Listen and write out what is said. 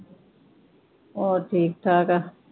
ਹੋਰ ਠੀਕ ਠਾਕ ਆ।